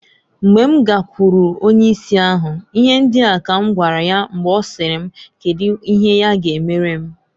Mgbe m gakwuru onye isi ahu, ihe ndia ka m gwara ya mgbe ọsịrị m kedu ihe ya ga emere m.